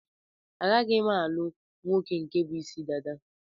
A gaghi m-alugh nwoke nke bu Ịsị dada?